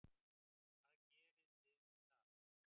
Hvað gerið þið við það?